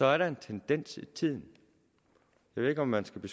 er en tendens i tiden jeg ved ikke om man skal give